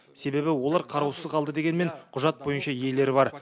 себебі олар қараусыз қалды дегенмен құжат бойынша иелері бар